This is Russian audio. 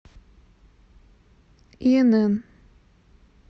инн